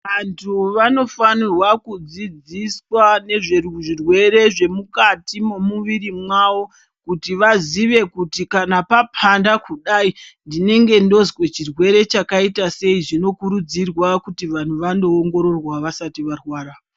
Vantu vanofanirwa kudzidziswa nezvezvirwere zvemukati momuviri mwavo. Kuti vazive kuti kana papanda kudai ndinenge ndozve chirwere chakaita sei. Zvinokurudzirwa kuti vanhu vanoongororwa vasati varwara.